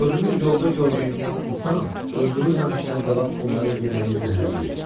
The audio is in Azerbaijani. Görünür, yolda gördüyümüz insan öldürülməmişdən qabaq bunların yeməyini zəhərləyib.